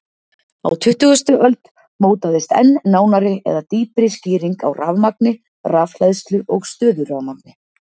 Á tuttugustu öld mótaðist enn nánari eða dýpri skýring á rafmagni, rafhleðslu og stöðurafmagni.